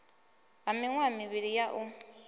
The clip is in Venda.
ha miṅwaha mivhili ya u